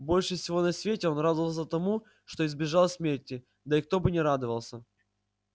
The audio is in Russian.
больше всего на свете он радовался тому что избежал смерти да и кто бы не радовался